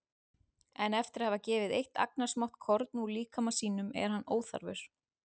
En eftir að hafa gefið eitt agnarsmátt korn úr líkama sínum er hann óþarfur.